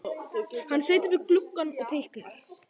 Hann situr við gluggann og teiknar.